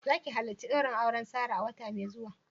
Za ki halarci daurin auren Sarah a wata mai zuwa?